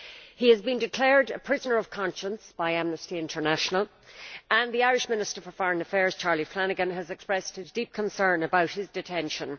He has been declared a prisoner of conscience by Amnesty International, and the Irish Minister for Foreign Affairs, Charlie Flanagan, has expressed his deep concern about his detention.